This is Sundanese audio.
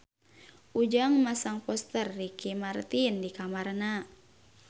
Ujang masang poster Ricky Martin di kamarna